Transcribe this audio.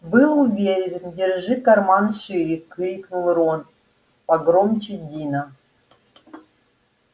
был уверен держи карман шире крикнул рон погромче дина